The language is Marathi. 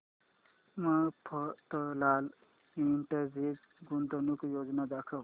मफतलाल इंडस्ट्रीज गुंतवणूक योजना दाखव